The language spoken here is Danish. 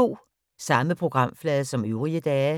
Samme programflade som øvrige dage